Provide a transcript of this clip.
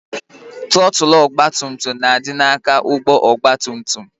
Trọtụl ọgbatumtum na-adị n'aka ụgbọ ọgbatumtum